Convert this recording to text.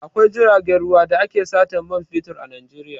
Akwai jiragen ruwa da ake satan man fetur a Najeiya.